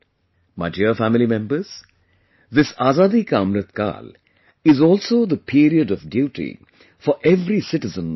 My dear family members, this AzadiKaAmritKaal is also the period of duty for every citizen of the country